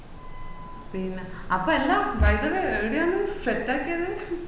പിന്നാ അപ്പൊ എന്താ വയ്കാല്ലേ എടയാണ് set ആക്കിയത്